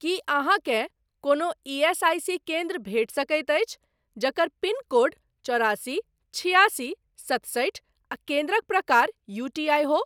की अहाँकेँ कोनो ईएसआईसी केन्द्र भेटि सकैत अछि जकर पिनकोड चौरासी छिआसी सतसठि आ केन्द्रक प्रकार यूटीआई हो?